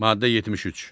Maddə 73.